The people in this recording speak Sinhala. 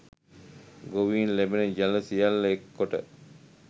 ගොවීන් ලැබෙන ජලය සියල්ල එක් කොට